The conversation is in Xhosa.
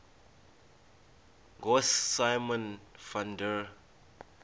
ngosimon van der